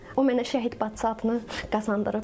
O mənə şəhid bacısı adını qazandırıb.